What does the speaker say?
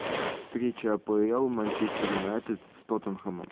встреча апл манчестер юнайтед с тоттенхэмом